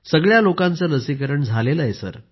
सगळ्या लोकांचं लसीकरण झालं आहे